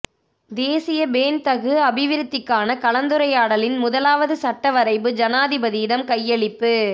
தேசிய பேண்தகு அபிவிருத்திக்கான கலந்துரையாடலின் முதலாவது சட்ட வரைபு ஜனாதிபதியிடம் கையளிப்பு